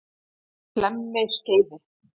Hlemmiskeiði